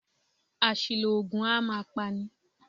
Àṣìlò oògùn a máa pa ni.